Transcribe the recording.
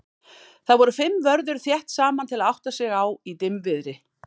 þar voru fimm vörður þétt saman til að átta sig á í dimmviðri